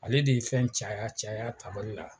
Ale de ye fɛn caya caya tabali la